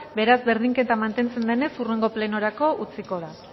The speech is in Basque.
beraz berdinketa mantentzen denez hurrengo plenorako utziko da